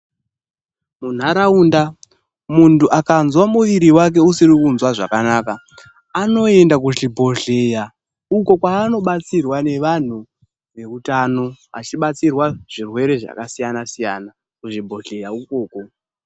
Munharaunda, muntu akanzwa muviri wake usiri kunzwa zvakanaka, anoenda kuzvibhedhleya uko kwaanobatsirwa nevantu veutano. Vachibatsirwa zvirwere zvakasiyana-siyana kuzvibhedhleya ukoko.